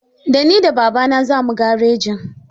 Da ni da babana zamu garejin.